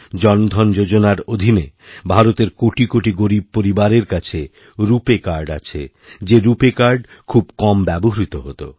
জনধন যোজনার অধীনে ভারতের কোটি কোটি গরীব পরিবারের কাছে রুপ আ ই কার্ড আছে যে রুপে কার্ড খুব কম ব্যবহৃত হত